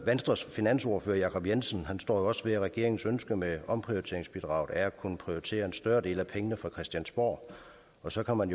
venstres finansordfører herre jacob jensen står jo også ved at regeringens ønske med omprioriteringsbidraget er at kunne prioritere en større del af pengene fra christiansborg og så kan man